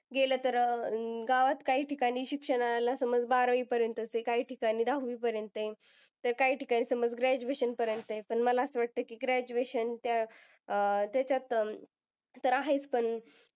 गेलं तर अं गावात काही ठिकाणी शिक्षणाला समज बारावीपर्यंतच आहे. काही ठिकाणी दहावीपर्यंत आहे. तर काही ठिकाणी समज graduation पर्यंत आहे. पण मला असं वाटतं की graduation अं त्याच्यात तर आहेच पण